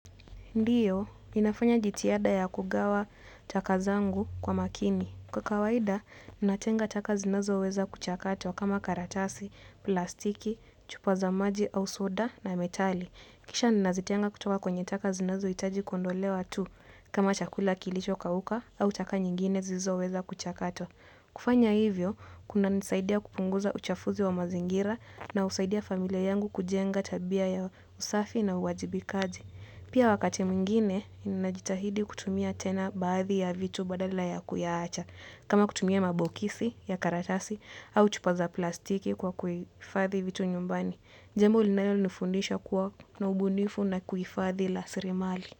Ndiyo, ninafanya jitihada ya kugawa taka zangu kwa makini. Kwa kawaida, ninatenga taka zinazoweza kuchakatwa kama karatasi, plastiki, chupa za maji au soda na metali. Kisha ninazitenga kutoka kwenye taka zinazo hitaji kondolewa tu kama chakula kilicho kauka au taka nyingine zilizo weza kuchakatwa. Kufanya hivyo, kunanisaidia kupunguza uchafuzi wa mazingira na husaidia familia yangu kujenga tabia ya usafi na uwajibikaji. Pia wakati mwingine ninajitahidi kutumia tena baadhi ya vitu badala ya kuyaacha. Kama kutumia mabokisi ya karatasi au chupa za plastiki kwa kuhifathi vitu nyumbani. Jambo linayo nifundisha kuwa na ubunifu na kuhifadhi lasirimali.